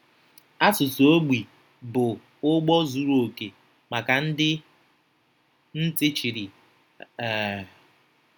Asụsụ ogbi bụ ụgbọ zuru okè maka ndị ntị chiri. um